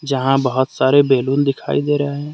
जहां बहोत सारे बैलून दिखाई दे रहे हैं।